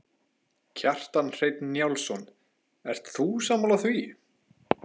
Kjartan Hreinn Njálsson: Ert þú sammála því?